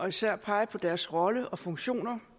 især peger på deres rolle og funktion